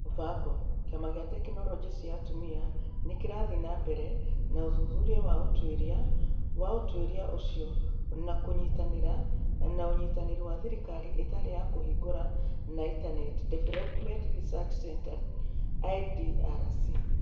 Mũbango, kĩama kĩa tekinoronjĩ cia atumia, nĩ kĩrathiĩ na mbere na ũthuthuria wa ũtuĩria wa ũtuĩria ũcio na kũnyitanĩra na Ũnyitanĩri wa Thirikari Ĩtarĩ ya Kũhingũra na International Development Research Centre (IDRC).